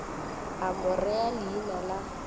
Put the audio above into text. a mo rea leina la